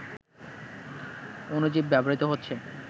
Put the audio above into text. অণুজীব ব্যবহৃত হচ্ছে